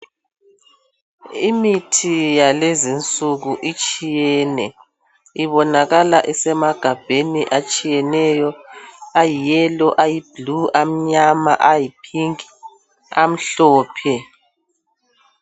Imithi yalezinsuku itshiyene ibonakala isemagabheni atshiyeneyo ayiyelo, ayibhulu, amnyama, ayiphinki amhlophe.